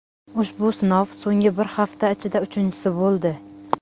Ushbu sinov so‘nggi bir hafta ichida uchinchisi bo‘ldi.